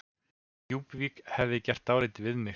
Djúpuvík hefði gert dálítið við mig.